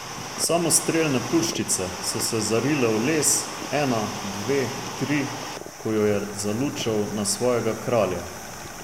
Samostrelne puščice so se zarile v les, ena, dve, tri, ko jo je zalučal na svojega kralja.